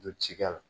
Don ci kɛ la